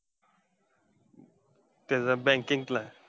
तेचा banking ला.